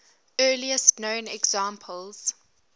earliest known examples